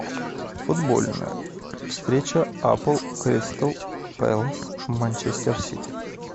футбольная встреча апл кристал пэлас манчестер сити